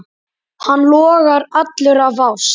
Hann logar allur af ást.